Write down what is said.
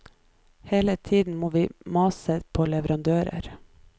Hele tiden må vi mase på leverandører.